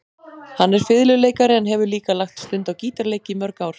Hann er fiðluleikari en hefur líka lagt stund á gítarleik í mörg ár.